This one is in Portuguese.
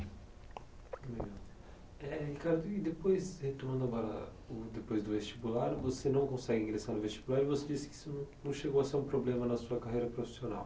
Eh Ricardo, e depois, retornando agora, uh depois do vestibular, você não consegue ingressar no vestibular e você disse que isso não não chegou a ser um problema na sua carreira profissional.